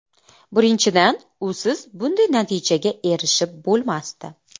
Birinchidan, usiz bunday natijaga erishib bo‘lmasdi.